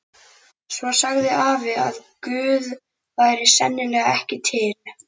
Svo sagði afi að Guð væri sennilega ekki til.